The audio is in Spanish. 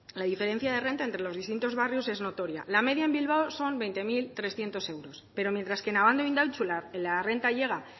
la diferencia de renta entre los distintos barrios es notoria la media en bilbao son veinte mil trescientos euros pero mientras que en abando e indautxu la renta llega